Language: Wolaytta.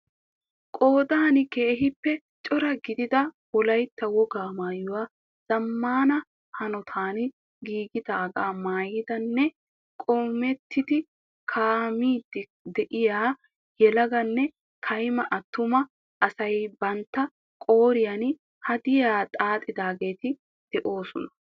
Qoodan keehippe cora gidida wolaytta wogaa maayuwaa zamaana hanottan giigidaagaa maayidinne qoomettidi kaa'iidi de'iya yelaganne kaymma atuma asay bantta qooriya hadiyaa xaaxxidaagetti de'oosona.